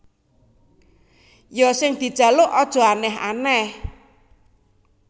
Ya sing dijaluk aja aneh aneh